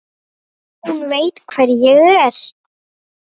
Hún veit hvar ég er.